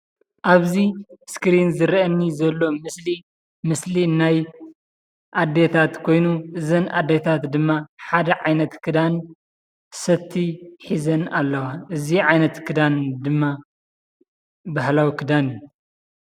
ኣብ'ዚ እስክሪን ዝረአየኒ ዘሎ ምስሊ ምስሊ ናይ ኣዴታት ኮይኑ እዘን ኣዴታት ድማ ሓደ ዓይነት ክዳን ሰቲ ሒዘን ኣለዋ ።እዚ ዓይነት ክዳን ድማ ባህላዊ ክዳን እዩ ።